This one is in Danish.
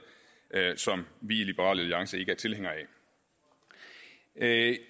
som vi i liberal alliance ikke er tilhængere af